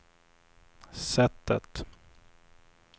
sättet